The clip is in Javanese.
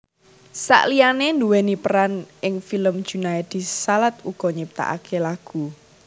Saliyane nduweni peran ing film Junaedi Salat uga nyiptakake lagu